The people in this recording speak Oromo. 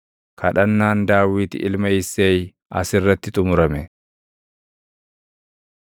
Kadhannaan Daawit ilma Isseey as irratti xumurame.